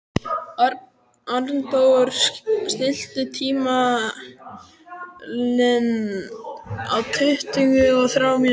Arndór, stilltu tímamælinn á tuttugu og þrjár mínútur.